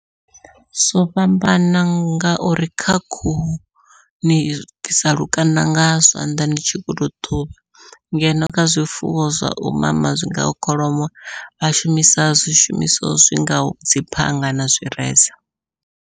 Zwo fhambana ngauri kha khuhu ni bvisa lukanda nga zwanḓa ni tshi kho to ṱhuvha, ngeno kha zwifuwo zwau mama zwingaho kholomo vha shumisa zwishumiswa zwi ngaho dzi phanga na zwireza.